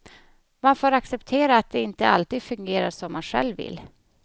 Man får acceptera att det inte alltid fungerar som man själv vill.